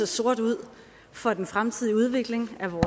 sort ud for den fremtidige udvikling af